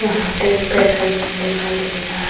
यहाँ पे एक पेट्रोल पंप दिखाई दे रहा।